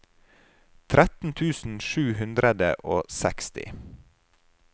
tretten tusen sju hundre og seksti